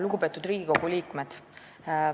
Lugupeetud Riigikogu liikmed!